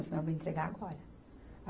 Senão eu vou entregar agora